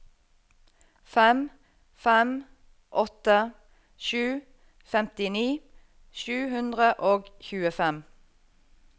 fem fem åtte sju femtini sju hundre og tjuefem